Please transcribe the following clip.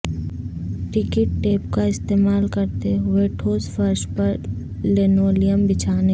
ڈکٹ tape کا استعمال کرتے ہوئے ٹھوس فرش پر لنولیم بچھانے